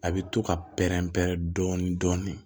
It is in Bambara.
A bɛ to ka pɛrɛn-pɛrɛn dɔɔnin dɔɔnin